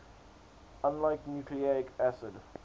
unlike nucleic acids